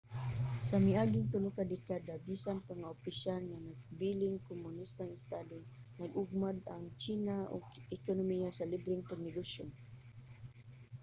sa miaging tulo ka dekada bisan pa nga opisyal nga nagpabiling kumonistang estado nag-ugmad ang tsina og ekonomiya sa libreng pagnegosyo